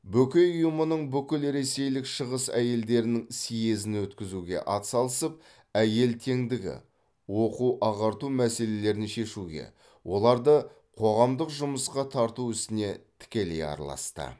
бөкей ұйымынан бүкілресейлік шығыс әйелдерінің съезін өткізуге ат салысып әйел теңдігі оқу ағарту мәселелерін шешуге оларды қоғамдық жұмысқа тарту ісіне тікелей араласты